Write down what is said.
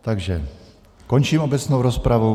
Takže končím obecnou rozpravu.